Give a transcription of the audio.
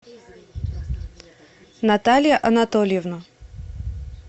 наталья анатольевна